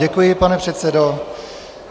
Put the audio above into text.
Děkuji, pane předsedo.